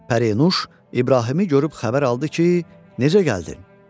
Pərinüş İbrahimi görüb xəbər aldı ki, necə gəldin?